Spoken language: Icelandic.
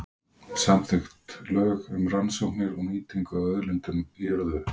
Samþykkt lög um rannsóknir og nýtingu á auðlindum í jörðu.